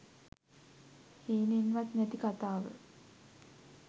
හිතන්නෙවත් නැති කතාව